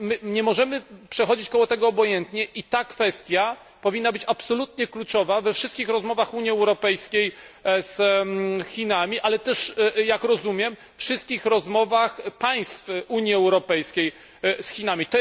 Nie możemy więc przechodzić koło tego obojętnie i ta kwestia powinna być absolutnie kluczowa we wszystkich rozmowach Unii Europejskiej z Chinami, ale też jak rozumiem wszystkich rozmowach państw Unii Europejskiej z Chinami.